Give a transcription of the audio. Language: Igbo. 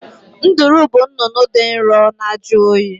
Nduru bụ nnụnụ dị nro na-ajụ oyi